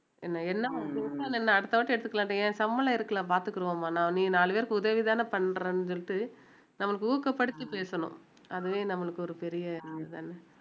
என்ன அடுத்த வாட்டி எடுத்துக்கலாம் என் சம்பளம் இருக்கலாம் பாத்துக்கிருவோமாண்ணா நீ நாலு பேருக்கு உதவிதானே பண்றேன்னு சொல்லிட்டு நம்மளுக்கு ஊக்கப்படுத்தி பேசணும் அதுவே நம்மளுக்கு ஒரு பெரிய இது தான